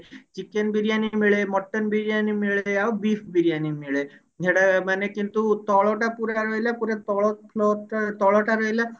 chicken biryani ମିଳେ mutton biryani ମିଳେ ଆଉ beef ବିରିୟାନୀ ମିଳେ ସେଟା ମାନେ କିନ୍ତୁ ତଳଟା ପୁରା ରହିଲା ପୁରା ତଳ Flore ଟା ତଳ ଟା ରହିଲା